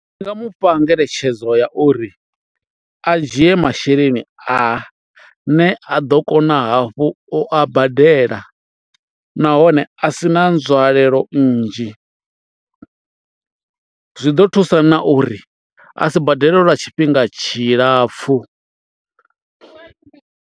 Ndi nga mu fha ngeletshedzo ya uri a dzhie masheleni a ne a ḓo kona hafhu u a badela nahone a si na nzwalelo nnzhi, zwi ḓo thusa na uri a si badele lwa tshifhinga tshilapfhu.